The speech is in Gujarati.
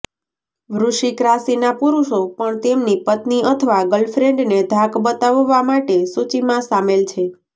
વૃશ્ચિક રાશિના પુરુષો પણ તેમની પત્ની અથવા ગર્લફ્રેન્ડને ધાક બતાવવા માટે સૂચિમાં શામેલ છે